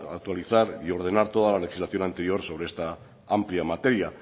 actualizar y ordenar toda la legislación anterior sobre esta amplia materia